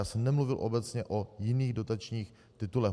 Já jsem nemluvil obecně o jiných dotačních titulech.